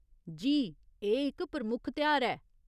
जी, एह् इक प्रमुख तेहार ऐ।